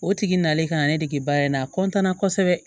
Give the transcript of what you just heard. O tigi nalen ka ne dege baara in na a kosɛbɛ